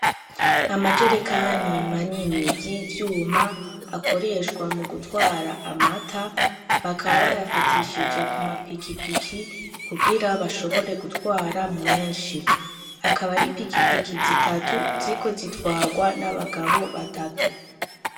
Amajerekani manini y'ivyuma akoreshwa mu gutwara amata bakaba bayafatishije ku mapikipiki kugira bashobore gutwara menshi akaba ari pikipiki zitatu ziko zitwarwa n'abagabo batatu.